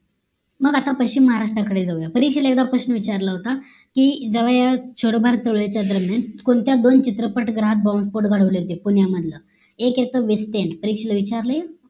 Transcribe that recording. मग आता पश्चिम महाराष्ट्र कडे जाऊया परीक्षेला एकदा प्रश्न विचारला होता की जवळ जवळ छोडो भारत चळवळीच्या दरम्यान कोणत्या दोन चित्रपट गृहात bomb spot घडवले होते पुण्यामंडला एक होत विष्ठेनं परीक्षेला विचारले